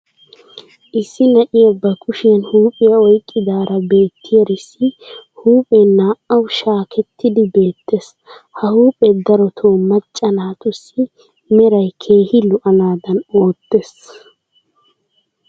issi na'iya ba kushiyan huuphiyaa oyqqidaara beettiyaarissi huuphphee naa"awu shaakettidi beetees. ha huuphphee darotoo macca naatussi meray keehi lo'anadan ootees.